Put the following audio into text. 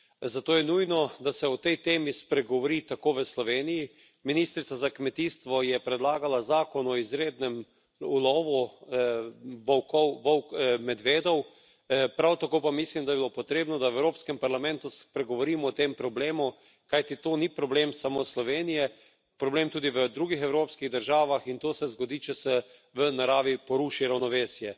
Zato je nujno, da se o tej temi spregovori tako v Sloveniji, ministrica za kmetijstvo je predlagala zakon o izrednem ulovu volkov, medvedov, prav tako pa mislim, da bi bilo potrebno, da v Evropskem parlamentu spregovorimo o tem problemu, kajti to ni problem samo Slovenije, problem je tudi v drugih evropskih državah, in to se zgodi, če se v naravi poruši ravnovesje.